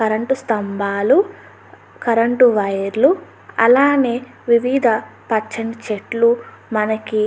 current స్తంభాలు current వైర్లు అలానే వివిధ పచ్చని చెట్లు మనకి --